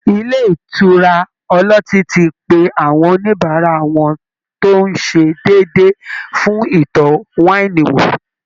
Ilé ìtura ọlọ́tí ti pe àwọn oníbàárà wọn tó ń ṣe déédéé fún ìtọ́ wáìnì wò